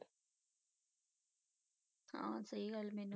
ਹਾਂ ਸਹੀ ਗੱਲ ਮੈਨੂੰ।